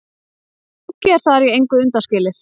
Pönkið er þar í engu undanskilið.